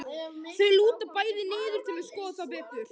Þau lúta bæði niður til að skoða það betur.